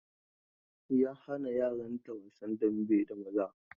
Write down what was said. Ya hana yaran ta wasan dambe da maza.